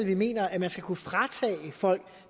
vi mener at man skal kunne fratage folk